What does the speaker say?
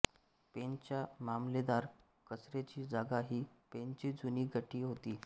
पेणच्या मामलेदार कचेरीची जागा ही पेणची जुनी गढी होती